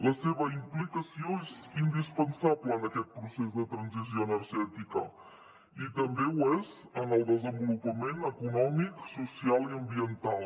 la seva implicació és indispensable en aquest procés de transició energètica i també ho és en el desenvolupament econòmic social i ambiental